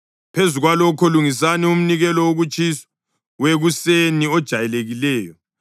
Phezu kwalokho lungisani umnikelo wokutshiswa wekuseni ojayelekileyo.